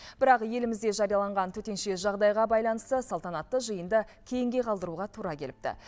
бірақ елімізде жарияланған төтенше жағдайға байланысты салтанатты жиынды кейінге қалдыруға тура келіпті